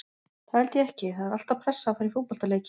Það held ég ekki, það er alltaf pressa að fara í fótboltaleiki.